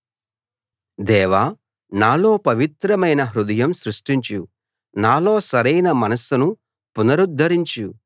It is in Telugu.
దేవా నాలో పవిత్రమైన హృదయం సృష్టించు నాలో సరైన మనస్సును పునరుద్దరించు